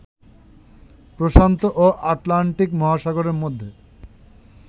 প্রশান্ত ও আটলান্টিক মহাসাগরের মধ্যে